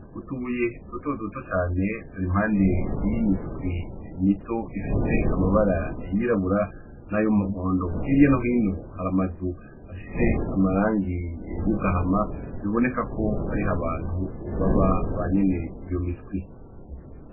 Utuye doto doto cane turi impande y'imiswi mito ifise amabara yirabura n'ayo muhondo hirya nohino haramazu afise amarangi yogahama biboneka ko ari ho abantu ubaba ba nyene iyo miswi.